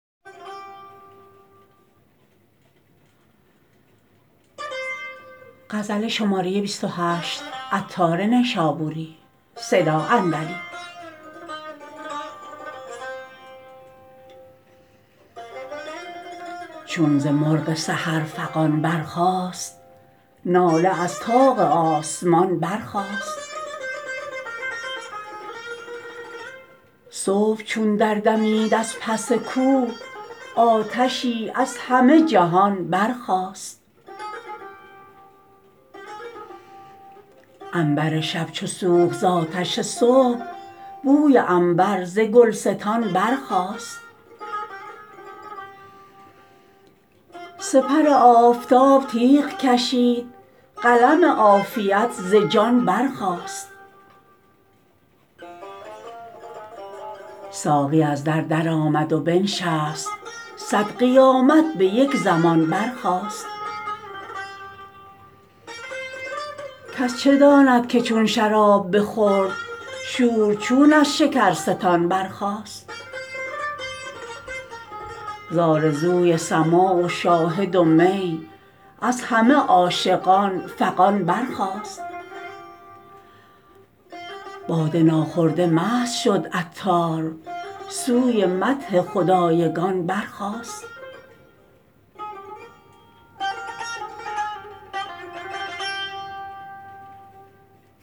چون ز مرغ سحر فغان برخاست ناله از طاق آسمان برخاست صبح چون دردمید از پس کوه آتشی از همه جهان برخاست عنبر شب چو سوخت زآتش صبح بوی عنبر ز گلستان برخاست سپر آفتاب تیغ کشید قلم عافیت ز جان برخاست ساقی از در درآمد و بنشست صد قیامت به یک زمان برخاست کس چه داند که چون شراب بخورد شور چون از شکرستان برخاست زآرزوی سماع و شاهد و می از همه عاشقان فغان برخاست باده ناخورده مست شد عطار سوی مدح خدایگان برخاست